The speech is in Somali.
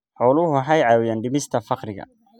Xooluhu waxay caawiyaan dhimista faqriga.